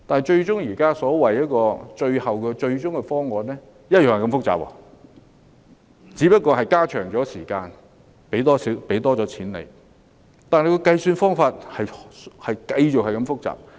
不過，現時所謂的最終方案同樣複雜，只是延長了時間，提高資助額，但計算方法同樣複雜。